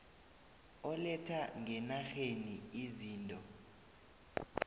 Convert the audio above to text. oletha ngenarheni izinto